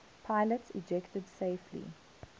pilots ejected safely